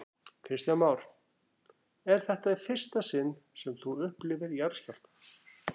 Kristján Már: Er þetta í fyrsta sinn sem þú upplifir jarðskjálfta?